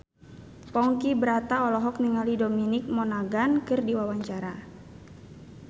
Ponky Brata olohok ningali Dominic Monaghan keur diwawancara